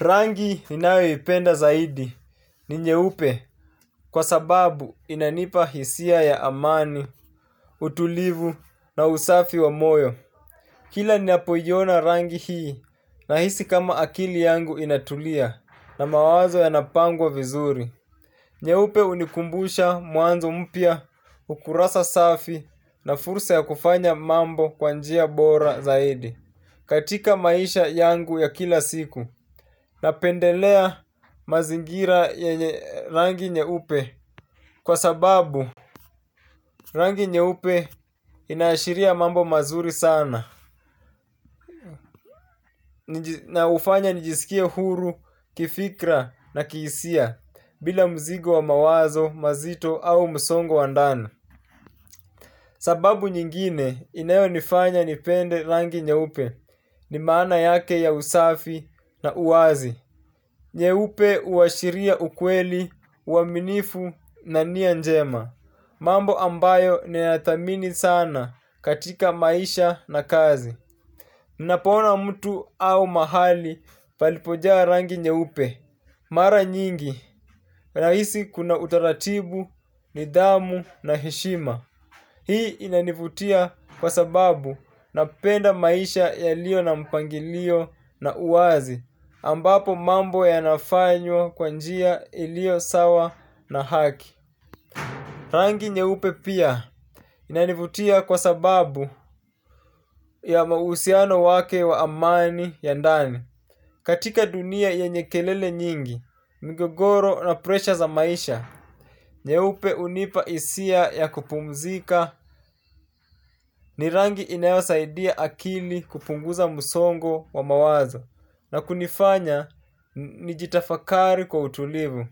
Rangi ninayoipenda zaidi ni nyeupe kwa sababu inanipa hisia ya amani, utulivu na usafi wa moyo. Kila ninapoiyona rangi hii na hisi kama akili yangu inatulia na mawazo ya napangwa vizuri. Nyeupe hunikumbusha mwanzo mpya ukurasa safi na fursa ya kufanya mambo kwanjia bora zaidi. Katika maisha yangu ya kila siku na pendelea mazingira yenye rangi nye upe kwa sababu rangi nye upe inashiria mambo mazuri sana na hufanya nijisikie huru, kifikra na kihisia bila mzigo wa mawazo, mazito au msongo wa ndani. Sababu nyingine inayo nifanya nipende rangi nye upe ni maana yake ya usafi na uwazi. Nye upe huashiria ukweli, uaminifu na nianjema. Mambo ambayo ni nadhamini sana katika maisha na kazi. Ninapona mtu au mahali palipojaa rangi nye upe. Mara nyingi, nahisi kuna utaratibu, nidhamu na heshima. Hii inanivutia kwa sababu napenda maisha ya liyo na mpangilio na uwazi. Ambapo mambo ya nafanywa kwanjia iliyo sawa na haki. Rangi nyeupe pia inanivutia kwa sababu ya mahusiano wake wa amani ya ndani. Katika dunia ye nyekelele nyingi, mgogoro na presha za maisha, nyeupe hunipa hisia ya kupumzika ni rangi inayo saidia akili kupunguza msongo wa mawazo na kunifanya nijitafakari kwa utulivu.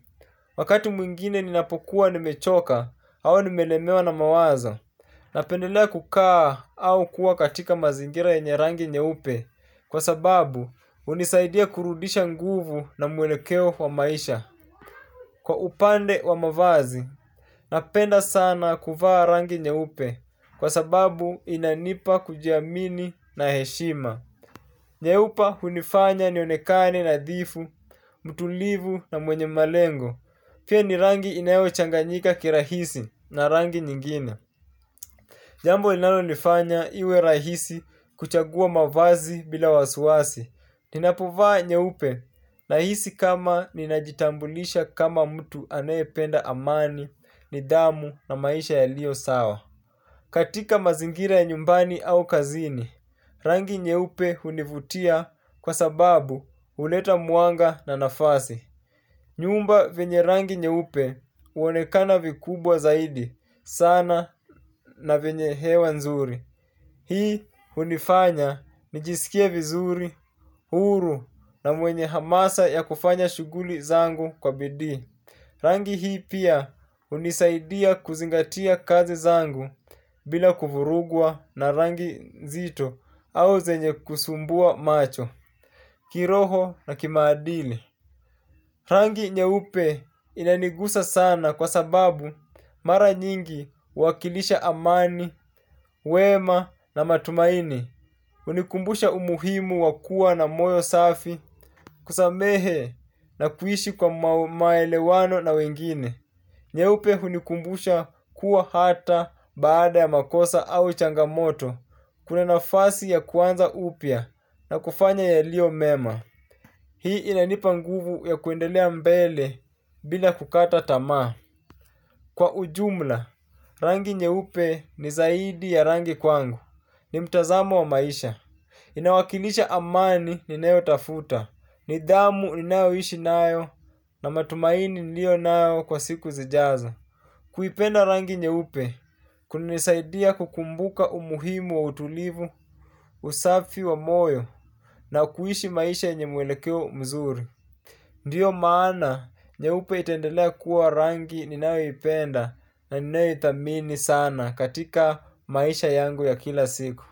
Wakati mwingine ninapokuwa ni mechoka au nimelemewa na mawazo napendelea kukaa au kuwa katika mazingira ye nyerangi nyeupe. Kwa sababu hunisaidia kurudisha nguvu na mwelekeo wa maisha. Kwa upande wa mavazi napenda sana kuvaa rangi nyeupe. Kwa sababu inanipa kujiamini na heshima. Nyeupe hunifanya nionekane na dhifu, mtulivu na mwenye malengo. Pia ni rangi inayo changanyika kirahisi na rangi nyingine. Jambo linalo nifanya iwe rahisi kuchagua mavazi bila wasiwasi. Ninapovaa nye upe na hisi kama ninajitambulisha kama mtu anayependa amani ni dhamu na maisha ya liyo sawa. Katika mazingira ya nyumbani au kazini, rangi nye upe hunivutia kwa sababu huleta mwanga na nafasi. Nyumba vyienye rangi nye upe huonekana vikubwa zaidi sana na venye hewa nzuri. Hii hunifanya nijisikie vizuri, huru na mwenye hamasa ya kufanya shughuli zangu kwa bidii. Rangi hii pia hunisaidia kuzingatia kazi zangu bila kuvurugwa na rangi nzito au zenye kusumbua macho, kiroho na kimaadili. Rangi nye upe inanigusa sana kwa sababu mara nyingihu wakilisha amani, wema na matumaini, hunikumbusha umuhimu wakua na moyo safi kusamehe na kuishi kwa maelewano na wengine. Nye upe hunikumbusha kuwa hata baada ya makosa au changamoto, kuna nafasi ya kuanza upya na kufanya ya liyo mema. Hii inanipa nguvu ya kwendelea mbele bila kukata tamaa. Kwa ujumla, rangi nye upe ni zaidi ya rangi kwangu, ni mtazamo wa maisha. Inawakilisha amani ni nayo tafuta, ni dhamu ni nayo ishi nayo, na matumaini niliyo nayo kwa siku zijazo. Kuipenda rangi nye upe kuna nisaidia kukumbuka umuhimu wa utulivu, usafi wa moyo na kuishi maisha yenye mwelekeo mzuri. Ndiyo maana nye upe itaendelea kuwa rangi ninayo ipenda na ninayo idhamini sana katika maisha yangu ya kila siku.